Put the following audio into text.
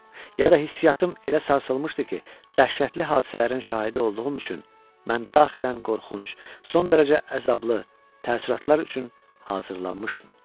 Ya da hissiyatım elə sarsılmışdı ki, dəhşətli hadisələrin şahidi olduğum üçün mən daxilən qorxunc, son dərəcə əzablı təəssüratlar üçün hazırlanmışdım.